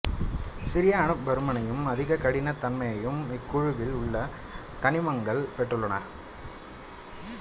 சிறிய அணுப் பருமனையும் அதிக கடினத் தன்மையையும் இக்குழுவில் உள்ள தனிமங்கள் பெற்றுள்ளன